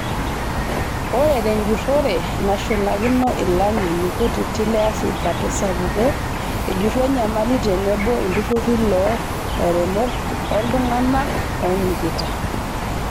Ore tunjurore nashulakino ilangeni kutiti leafrika tesapuko ejuru enyamali tenebo iltururi loo lairemok oltunganak onyikita.